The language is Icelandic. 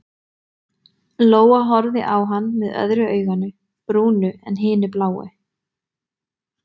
Lóa-Lóa horfði á hann með öðru auganu brúnu en hinu bláu.